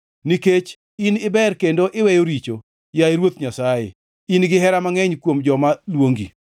Nikech in iber kendo iweyo richo, yaye Ruoth Nyasaye in gihera mangʼeny kuom joma luongi.